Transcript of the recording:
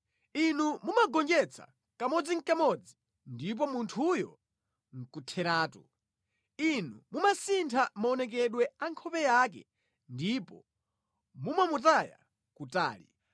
Inu mumamugonjetsa kamodzinʼkamodzi ndipo munthuyo nʼkutheratu; Inu mumasintha maonekedwe a nkhope yake ndipo mumamutaya kutali.